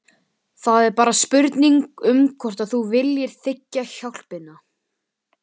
Það er bara spurning um hvort þú viljir þiggja hjálpina.